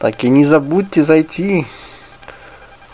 так и не забудьте зайти